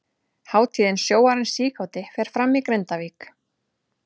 Hátíðin Sjóarinn síkáti fer fram í Grindavík.